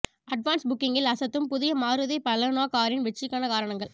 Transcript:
advance புக்கிங்கில் அசத்தும் புதிய மாருதி பலேனோ காரின் வெற்றிக்கான காரணங்கள்